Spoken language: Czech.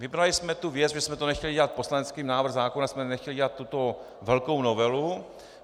Vybrali jsme tu věc - my jsme to nechtěli dělat, poslaneckým návrhem zákona jsme nechtěli dělat tuto velkou novelu.